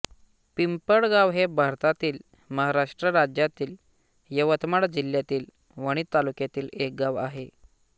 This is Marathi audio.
पिंपळगाव हे भारतातील महाराष्ट्र राज्यातील यवतमाळ जिल्ह्यातील वणी तालुक्यातील एक गाव आहे